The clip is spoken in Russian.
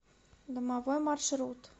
домовой маршрут